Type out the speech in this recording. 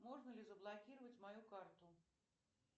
можно ли заблокировать мою карту